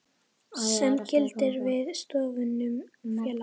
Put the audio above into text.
sem gildir við stofnun félags.